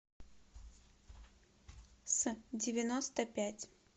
с девяносто пять